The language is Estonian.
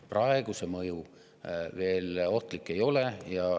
Praegu see mõju veel ohtlik ei ole.